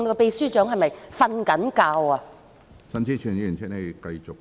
秘書長是否睡着了？